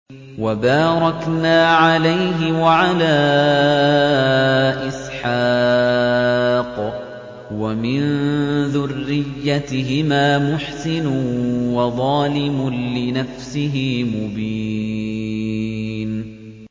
وَبَارَكْنَا عَلَيْهِ وَعَلَىٰ إِسْحَاقَ ۚ وَمِن ذُرِّيَّتِهِمَا مُحْسِنٌ وَظَالِمٌ لِّنَفْسِهِ مُبِينٌ